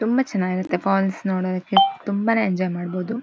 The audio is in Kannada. ''ತುಂಬಾ ಚನಾಗಿರತ್ತೆ ಫಾಲ್ಸ್ ನೋಡೋದಿಕ್ಕೆ ತುಂಬಾನೇ ಎಂಜಾಯ್'''' ಮಾಡಬೋದು.''